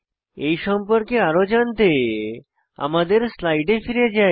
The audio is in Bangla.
এই সম্পর্কে আরো জানতে আমাদের স্লাইডে ফিরে যাই